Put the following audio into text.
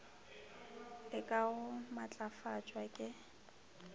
le ka go matlafatšwa ke